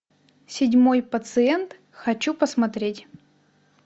седьмой пациент хочу посмотреть